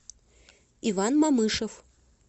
иван мамышев